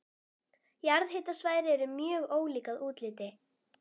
Jarðhitasvæði eru mjög ólík að útliti.